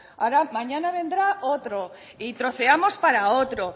mañana vendrá otro y troceamos para otro